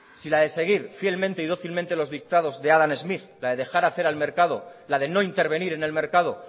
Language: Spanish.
si la de seguir fielmente y dócilmente los dictados de adam smith la de dejar hacer al mercado la de no intervenir en el mercado